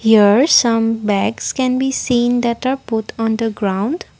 here some bags can be seen that are put on the ground.